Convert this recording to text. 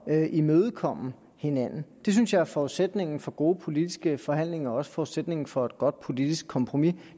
at imødekomme hinanden det synes jeg er forudsætningen for gode politiske forhandlinger og også forudsætningen for et godt politisk kompromis